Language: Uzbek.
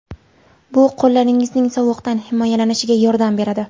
Bu qo‘llaringizning sovuqdan himoyalanishiga yordam beradi.